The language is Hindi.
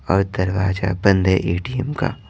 और दरवाजा बंद है एटीएम का।